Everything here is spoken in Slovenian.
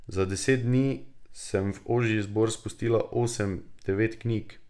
Za deset dni sem v ožji izbor spustila osem, devet knjig.